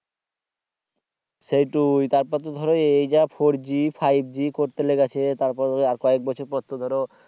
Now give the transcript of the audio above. সেইটাই তারপর তো ধরো এই যা four g five g করতে লেগেছে তারপরে তো আর কয়েক বছর পরে তো ধরো